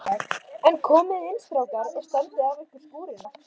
En komiði inn strákar og standið af ykkur skúrina.